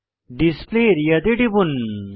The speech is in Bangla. ডিসপ্লে আরিয়া তে টিপুন